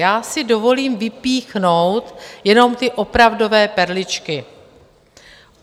Já si dovolím vypíchnout jenom ty opravdové perličky.